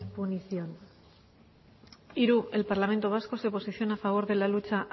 munición hiru el parlamento vasco se posiciona a favor de la lucha